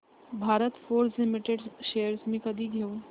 Bharat Forge Limited shares मी कधी घेऊ